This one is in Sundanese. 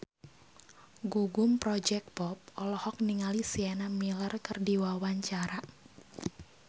Gugum Project Pop olohok ningali Sienna Miller keur diwawancara